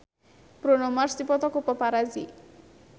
Bruno Mars dipoto ku paparazi